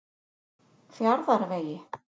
Fjarðarvegi